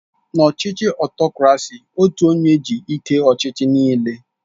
N'ọchịchị Ọtokrasi otu onye ji ike ọchịchị nịịle